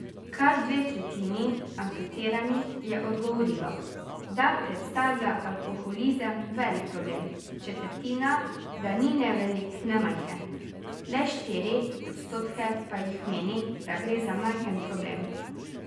Kar dve tretjini anketiranih je odgovorilo, da predstavlja alkoholizem velik problem, četrtina, da ni ne velik ne majhen, le štiri odstotke pa jih meni, da gre za majhen problem.